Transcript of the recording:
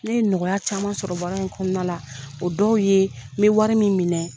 Ne nɔgɔya caman sɔrɔ baara in kɔnɔna la. O dɔw ye n be wari min minɛ